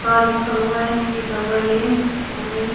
का लिखा हुआ है के डबल ए ऑरेंज --